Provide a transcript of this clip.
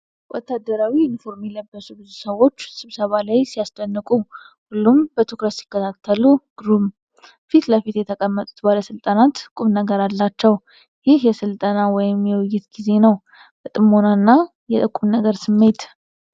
ወታደራዊ ዩኒፎርም የለበሱ ብዙ ሰዎች ስብሰባ ላይ ሲያስደንቁ!። ሁሉም በትኩረት ሲከታተሉ ግሩም!። ፊት ለፊት የተቀመጡት ባለሥልጣናት ቁምነገር አላቸው። ይህ የሥልጠና ወይም የውይይት ጊዜ ነው። የጥሞና እና የቁምነገር ስሜት!